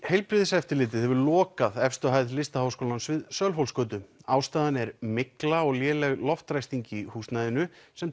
heilbrigðiseftirlitið hefur lokað efstu hæð Listaháskólans við Sölvhólsgötu ástæðan er mygla og léleg loftræsting í húsnæðinu sem